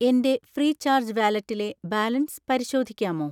എൻ്റെ ഫ്രീചാർജ് വാലറ്റിലെ ബാലൻസ് പരിശോധിക്കാമോ?